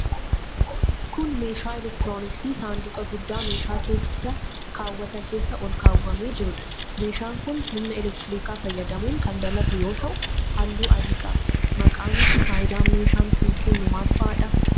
Kun, meeshaa elektirooniksii saanduqa guddaa meeshaa keessa kaawwatan keessa ol kaawwamee jiruudha. Meeshaan kun ,humna elektirikaa fayyadamuun kan dalagu yoo ta'u, haalluu adii qaba. Maqaan fi faayidaan meeshaan kun, kennu maal faa dha?